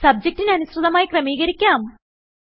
സബ്ജക്റ്റിന് അനുസൃതമായി ക്രമീകരിക്കാം